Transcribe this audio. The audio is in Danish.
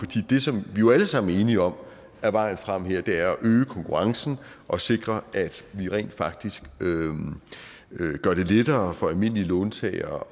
det som vi jo alle sammen er enige om er vejen frem her er at øge konkurrencen og sikre at vi rent faktisk gør det lettere for almindelige låntagere